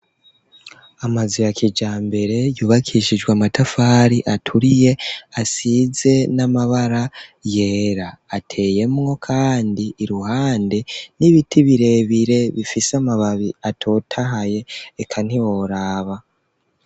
Amazu ya kijambere yubakishijwe amatafari aturiye, asize n'amabara yera. Ateyemwo kandi iruhande n'ibiti birebire bifise amababi atotahaye, eka ntiworaba.